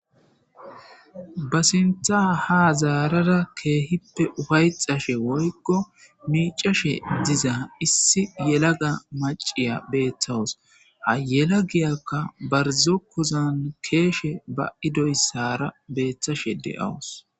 Ba sintha ha zaarara keehippe ufayxashe woykko miicashe diza issi yelaga maciya beeththawus ha yela giyakka barzokkuzan keeshe ba idoyssara beeththashe deawus.